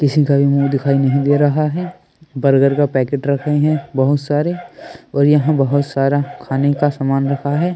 किसी का भी मुंह दिखाई नहीं दे रहा है बर्गर का पैकेट रख रहे हैं बहुत सारे और यहां बहुत सारा खाने का सामान रखा है।